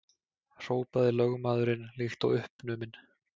hrópaði lögmaðurinn líkt og uppnuminn.